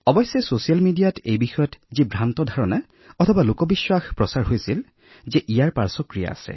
হয় ছচিয়েল মিডিয়াত ইয়াক লৈ বহুতো ভুল ধাৰণা উপলব্ধ হৈছে যে এইবোৰৰ পাৰ্শ্বক্ৰিয়া আছে